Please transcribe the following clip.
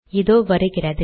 இதோ வருகிறது